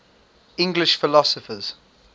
english philosophers